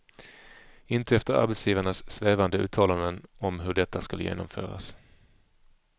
Inte efter arbetsgivarnas svävande uttalanden om hur detta skall genomföras.